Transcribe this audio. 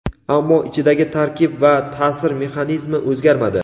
ammo ichidagi tarkib va ta’sir mexanizmi o‘zgarmadi.